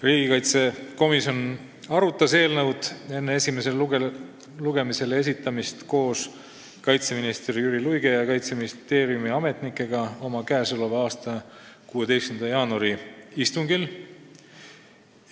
Riigikaitsekomisjon arutas eelnõu enne esimesele lugemisele esitamist koos kaitseminister Jüri Luige ja Kaitseministeeriumi ametnikega oma k.a 16. jaanuari istungil.